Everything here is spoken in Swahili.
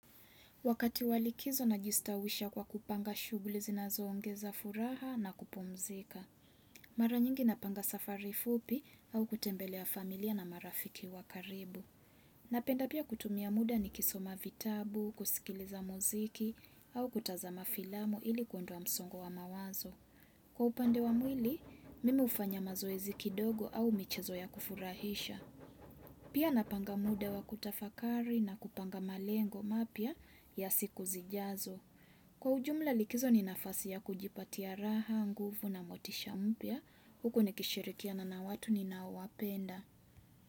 Wakati wa likizo najistawisha kwa kupanga shughuli zinazoongeza furaha na kupumzika. Mara nyingi napanga safari fupi au kutembelea familia na marafiki wa karibu. Napenda pia kutumia muda nikisoma vitabu, kusikiliza muziki au kutazama filamu ili kuondoa msongo wa mawazo. Kwa upande wa mwili, mimi hufanya mazoezi kidogo au michezo ya kufurahisha. Pia napanga muda wa kutafakari na kupanga malengo mapya ya siku zijazo. Kwa ujumla likizo ni nafasi ya kujipatia raha, nguvu na motisha mpya. Huku nikishirikiana na watu ninaowapenda.